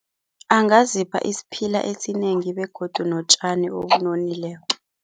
Angazipha isiphila esinengi begodu notjani obunonileko.